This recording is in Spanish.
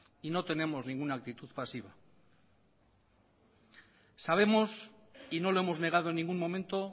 y no tenemos ninguna actitud pasiva sabemos y no lo hemos negado en ningún momento